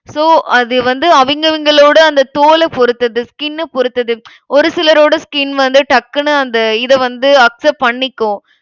so அது வந்து அவிங்க அவிங்களோட அந்த தோல பொறுத்தது skin அ பொறுத்தது. ஒரு சிலரோட skin வந்து டக்குனு அந்த இத வந்து accept பண்ணிக்கும்.